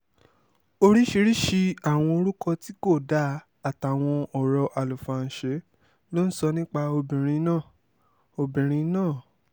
oríṣiríṣiì àwọn orúkọ tí kò dáa àtàwọn ọ̀rọ̀ àlùfàǹṣe ló ń sọ nípa obìnrin náà obìnrin náà